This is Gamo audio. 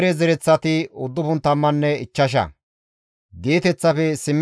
Qiriyaate-Yi7aarime, Kaafirenne Bi7eroote asati 743,